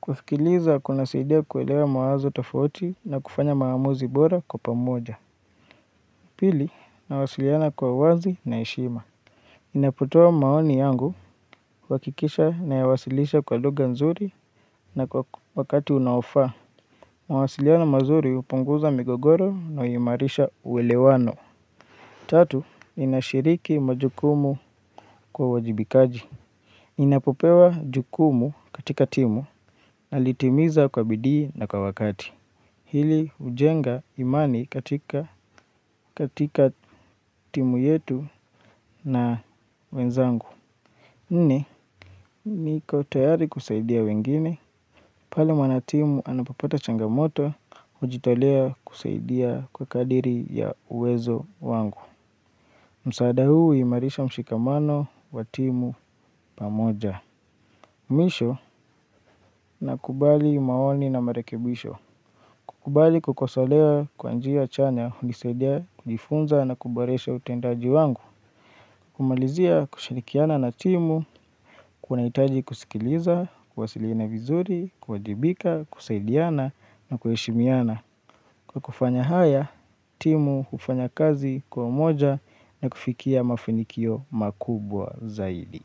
Kusikiliza kunasaidia kuelewa mawazo tofauti na kufanya maamuzi bora kwa pamoja. Pili nawasaliana kwa wazi na heshima ninapotua maoni yangu huhakikisha nayawasilisha kwa lugha nzuri na kwa wakati unaofaa. Mawasiliano mazuri hupunguza migogoro na huimarisha uwelewano. Tatu, ninashiriki majukumu kwa uwajibikaji. Ninapopewa jukumu katika timu nalitimiza kwa bidii na kwa wakati. Hili ujenga imani katika timu yetu na wenzangu. Nini, nikontayari kusaidia wengine, pale mwanatimu anapopata changamoto, hujitolea kusaidia kwa kadri ya uwezo wangu. Msaada huu huimarisha mshikamano wa timu pamoja. Mwisho, nakubali maoni na marekebisho. Kukubali kukosolewa kwa njia chanya, hunisaidia, kujifunza na kuboresha utendaji wangu. Kumalizia kushirikiana na timu, kunahitaji kusikiliza, kuwasiliana vizuri, kuwajibika, kusaidiana na kujeshimiana. Kwa kufanya haya, timu hufanya kazi kwa umoja na kufikia mafanikio makubwa zaidi.